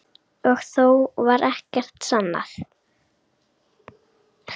Og þó varð ekkert sannað.